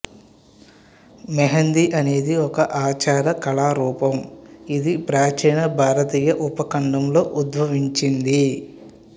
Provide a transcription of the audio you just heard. మెహందీ అనేది ఒక ఆచార కళారూపం ఇది ప్రాచీన భారతీయ ఉపఖండంలో ఉద్భవించింది